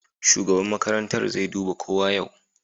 Shugaban makarantar zai duba kowa yau.